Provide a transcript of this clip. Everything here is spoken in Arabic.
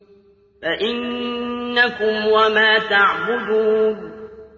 فَإِنَّكُمْ وَمَا تَعْبُدُونَ